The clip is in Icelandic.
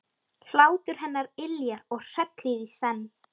Hlátur hennar yljar og hrellir í senn.